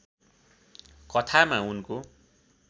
कथामा उनको